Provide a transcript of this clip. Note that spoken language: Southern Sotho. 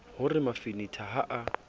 ho re mafanetha ha a